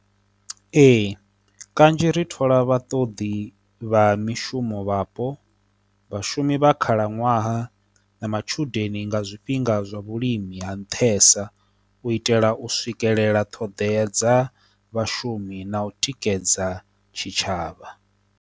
Ee, kanzhi ri thola vha ṱoḓi vha mishumo vhapo, vhashumi vha khalaṅwaha, na matshudeni nga zwifhinga zwa vhulimi ha nṱhesa u itela u swikelela ṱhodea dza vhashumi na u tikedza tshitshavha.